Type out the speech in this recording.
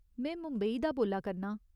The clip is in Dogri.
में मुंबई दा बोल्ला करनां।